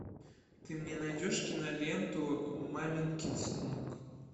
ты мне найдешь киноленту маменькин сынок